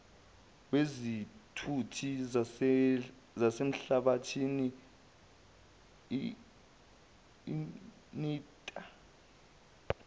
wezithuthi zasemhlabathini nltta